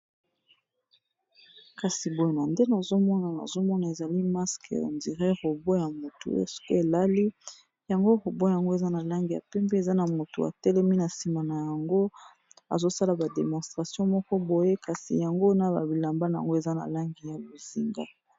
kasi boyena nde nozomona nozomona ezali maske endire robo ya motu ske elali yango robwe yango eza na langi ya pempe eza na moto atelemi na nsima na yango azosala bademonstration moko boye kasi yango na babilamban yango eza na langi ya bozinga